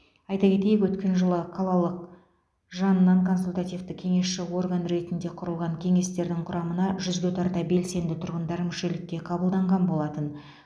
айта кетейік өткен жылы қалалық жанынан консультативті кеңесші орган ретінде құрылған кеңестердің құрамына жүзге тарта белсенді тұрғындар мүшелікке қабылданған болатын